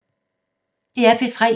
DR P3